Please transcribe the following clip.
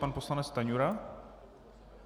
Pan poslanec Stanjura?